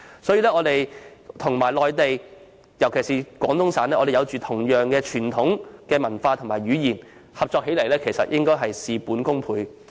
香港與內地，尤其是廣東省，擁有相同的傳統文化和語言，合作起來應會事半功倍。